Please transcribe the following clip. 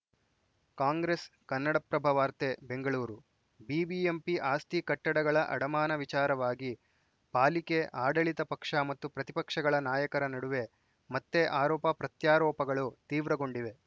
ಕಾಂಗ್ರೆಸ್‌ ಕನ್ನಡಪ್ರಭ ವಾರ್ತೆ ಬೆಂಗಳೂರು ಬಿಬಿಎಂಪಿ ಆಸ್ತಿ ಕಟ್ಟಡಗಳ ಅಡಮಾನ ವಿಚಾರವಾಗಿ ಪಾಲಿಕೆ ಆಡಳಿತ ಪಕ್ಷ ಮತ್ತು ಪ್ರತಿಪಕ್ಷಗಳ ನಾಯಕರ ನಡುವೆ ಮತ್ತೆ ಆರೋಪ ಪ್ರತ್ಯಾರೋಪಗಳು ತೀವ್ರಗೊಂಡಿವೆ